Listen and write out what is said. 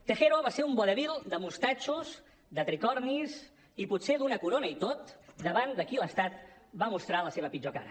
tejero va ser un vodevil de mostatxos de tricornis i potser d’una corona i tot davant de qui l’estat va mostrar la seva pitjor cara